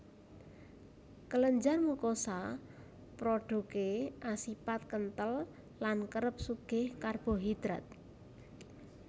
Kelenjar mukosa prodhuké asipat kenthel lan kerep sugih karbohidrat